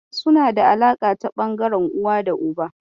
Suna da alaƙa ta ɓangaren uwa da uba.